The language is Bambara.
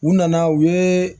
U nana u ye